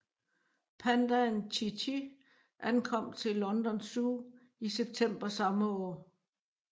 Pandaen Chi Chi ankom til London Zoo i september samme år